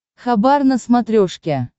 хабар на смотрешке